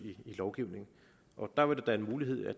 i lovgivning der var det da en mulighed at